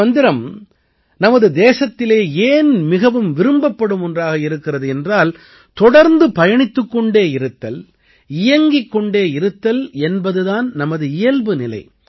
இந்த மந்திரம் நமது தேசத்திலே ஏன் மிகவும் விரும்பப்படும் ஒன்றாக இருக்கிறது என்றால் தொடர்ந்து பயணித்துக் கொண்டே இருத்தல் இயங்கிக் கொண்டு இருத்தல் என்பது தான் நமது இயல்புநிலை